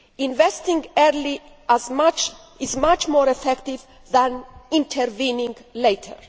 Investing early is much more effective than intervening later.